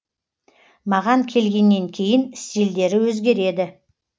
маған келгеннен кейін стильдері өзгереді